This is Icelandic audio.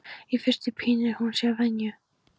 Í fyrstu pínir hún sig að venju.